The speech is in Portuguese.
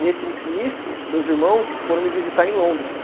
Nesse, nisso, meus irmãos foram me visitar em Londres.